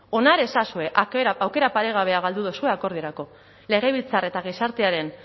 onar ezazue aukera paregabea galdu duzue akordiorako legebiltzar eta gizartearen